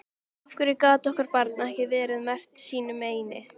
Af hverju gat okkar barn ekki verið merkt sínu meini?